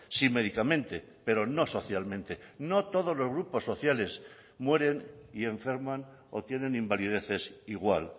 sí médicamente pero no socialmente no todos los grupos sociales mueren y enferman o tienen invalideces igual